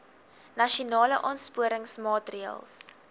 nasionale aansporingsmaatre ls